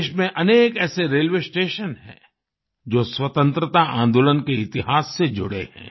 देश में अनेक ऐसे रेलवे स्टेशन हैं जो स्वतंत्रता आंदोलन के इतिहास से जुड़े हैं